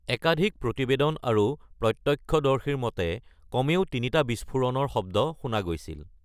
একাধিক প্ৰতিবেদন আৰু প্ৰত্যক্ষদৰ্শীৰ মতে, কমেও তিনিটা বিস্ফোৰণৰ শব্দ শুনা গৈছিল।